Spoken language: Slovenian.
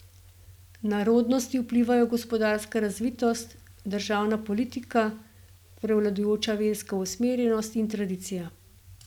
Na rodnosti vplivajo gospodarska razvitost, državna politika, prevladujoča verska usmerjenost in tradicija.